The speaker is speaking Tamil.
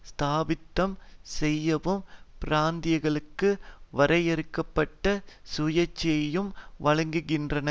ஸ்தாபிதம் செய்யவும் பிராந்தியங்களுக்கு வரையறுக்க பட்ட சுயாட்சியையும் வழங்குகின்றன